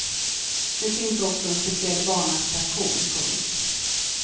Nu finns också en speciell barnattraktion. punkt